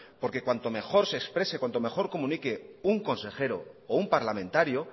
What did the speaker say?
porque cuanto mejor se exprese cuando mejor comunique un consejero o un parlamentario